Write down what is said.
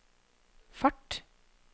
fart